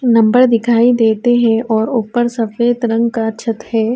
Number دکھائی دیتے ہے اور اپر سفید رنگ کا چھٹ ہے۔